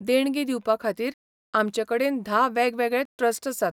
देणगी दिवपाखातीर आमचे कडेन धा वेगवेगळे ट्रस्ट आसात.